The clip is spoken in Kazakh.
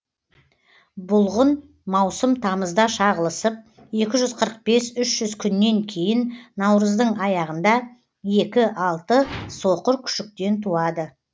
бұлғын маусым тамызда шағылысып екі жүз қырық бес үш жүз күннен кейін наурыздың аяғында екі алты соқыр күшіктен туады